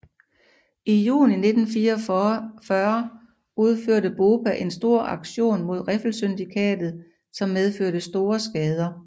I juni 1944 udførte BOPA en stor aktion mod Riffelsyndikatet som medførte store skader